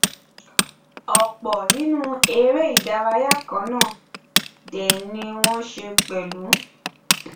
ọpọ nínú eréìdárayá kannáà dè ni wọn nṣe pẹlú